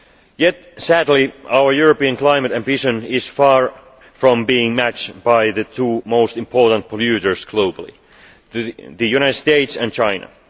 Yet sadly our European climate ambition is far from being matched by the two most important polluters globally the United States and China.